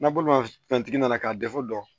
N'a bolo ma fɛn tigi nana k'a dɛsɛ jɔ don